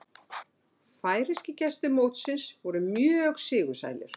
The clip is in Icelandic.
Færeyskir gestir mótsins voru mjög sigursælir